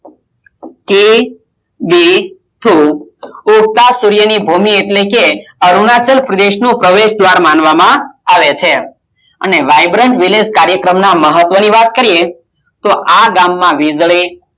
કિબીથુ ઉગતા સૂર્યની ભૂમિ એટલે કે અરુણાચલ પ્રદેશ નું પ્રવેશ દ્વાર માનવામાં આવે છે અને vibrant village કાર્યક્રમ ના મહત્વની વાત કરીએ તો આ ગામમાં વીજળી